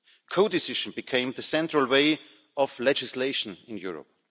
Co decision became the central way of legislation in Europe.